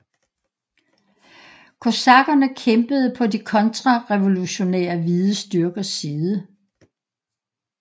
Kosakkerne kæmpede på de kontrarevolutionære hvide styrkers side